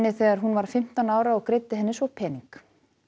þegar hún var fimmtán ára og greiddi henni svo pening